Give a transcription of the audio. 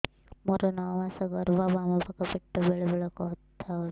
ମୋର ନଅ ମାସ ଗର୍ଭ ବାମ ପାଖ ପେଟ ବେଳେ ବେଳେ ବଥା କରୁଛି